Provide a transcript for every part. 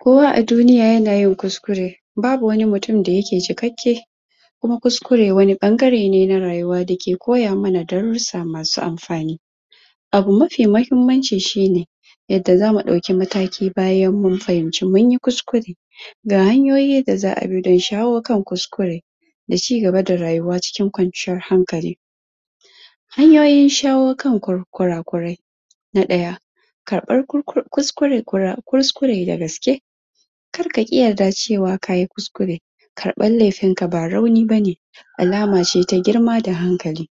kowa a duniya yana yin kuskure babu wani mutun da yake cikakke kuma kuskure wani baggare ne na rayuwa dake koyamana darusa masu anfani abu mafi mahimmanci shine yadda zamu dauki mataki bayan mun fahimci munyi kuskure ga hanyoyi da za a bi dan shaho kan kuskure da ci gaba da rayuwa cikin kwanciyan hankali hanyoyin shawo kan kurakurai na daya karfan kuskure, kuskure da gaske kar kaki yadda cewa kayi kuskure karfan laifin ka ba rauni bane alace ta girma da hankali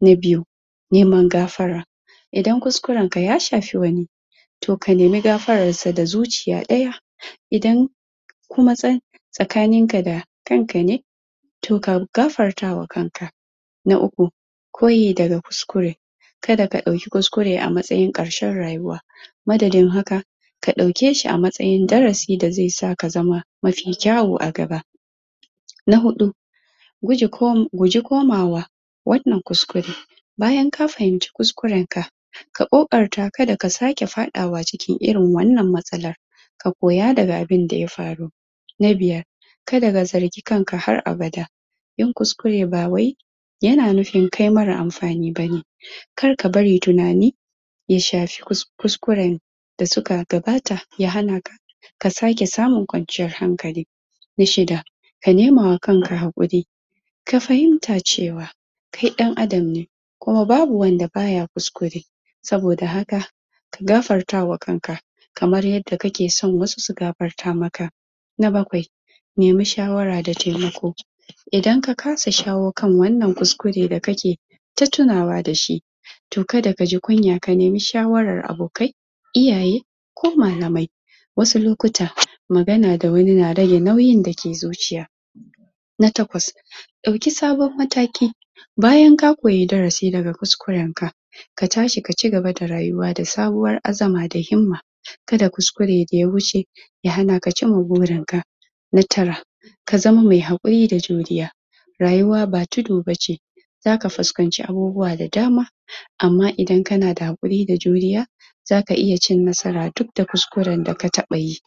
na biyu neman gafara idan kuskuren ka ya shafi wani to ka nemi gafaran sa da zuciya daya idan kuma tsakanin ka da kanka ne to ka gafartawa kanka na uku koyi daga kuskure kada ka dau kuskure a matasyin karshen rayuwa madadin haka ka daukeshi a matsayin darasi da zai sa ka zama mafi kyawu a gaba na hudu guge guji komawa wan nan kuskure bayan ka fahinci kuskuren ka ka kokarta kada ka sake fadawa cikin irin wan nan matsalan ka koya daga abin da ya faru na biyar kada ka zargi kanka har abada yin kuskure bawai yana nufin kai marar anfani bane kar ka bari tunani ya shafi kuskuren da suka gabata ya hana ka ka sake samun kwanciyan hankali na shida ka nemama kanka hakuri ka fahinta cewa kai dan adam ne kuma babu wanda baya kuskure sabo da haka ka gafartawa kanka kamar yadda kake son wasu su gafarta maka na bakwai nemi shawara da taimako idan ka kasa shawo kan wannan kuskure da kake ta tunawa da shi to kada kaji kunya ka nemi shwaran abokai iyaye ko malamai wasu lokuta magana da wani na rage nauyin dake zuciya na takwas dauki samon madaki bayan ka koyi darasi daga kuskuren ka ka tashi ka ci gaba da rayuwa da sabon azama da himma kada kuskure da ya huce ya hanaka cin burin ka na tara ka zama mai hakuri da juriya rayuwa ba tudu bace zaka fuskanci abubuwa da dama amma idan kana da hakuri da juriya zaka iya cin nasara dud da kuskuren da ka taba yi